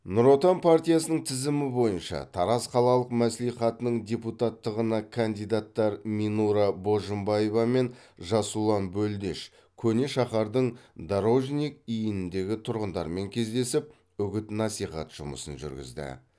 нұр отан партиясының тізімі бойынша тараз қалалық мәслихатының депутаттығына кандидаттар минура божымбаева мен жасұлан бөлдеш көне шаһардың дорожник иініндегі тұрғындармен кездесіп үгіт насихат жұмысын жүргізді